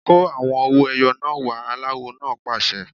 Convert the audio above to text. Kó àwọn owó ẹyọ náà wá! Aláwo náà pàṣẹ.